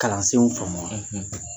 Kalansenw faamu wa? .